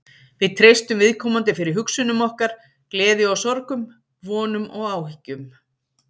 Við treystum viðkomandi fyrir hugsunum okkar, gleði og sorgum, vonum og áhyggjum.